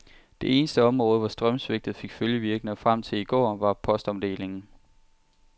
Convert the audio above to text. Det eneste område, hvor strømsvigtet fik følgevirkninger frem til i går, var postomdelingen.